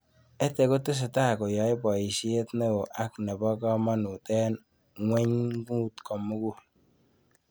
EdTech kotesetai koyae poishet neo ako nepo kamanut eng' ng'wengut komugul